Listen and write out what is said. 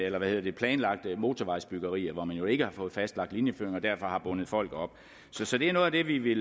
af de planlagte motorvejsbyggerier hvor man jo ikke har fået fastlagt linjeføring og derfor har bundet folk op så det er noget af det vi